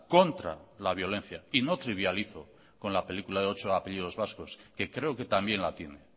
contra la violencia y no trivializo con la película de ocho apellidos vascos que creo que también la tiene